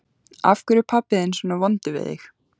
Af hverju er pabbi þinn svona vondur við þig?